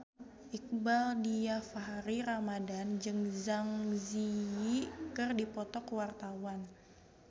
Iqbaal Dhiafakhri Ramadhan jeung Zang Zi Yi keur dipoto ku wartawan